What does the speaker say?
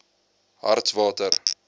hartswater